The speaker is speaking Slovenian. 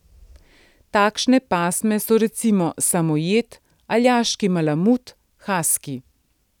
Takšne pasme so recimo samojed, aljaški malamut, haski.